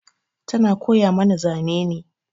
Tana koya mana zane ne.